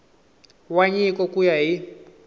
wa nyiko ku ya hi